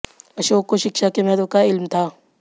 अशोक को शिक्षा के महत्व का इल्म था